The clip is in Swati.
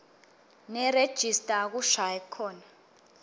nerejista akushayi khona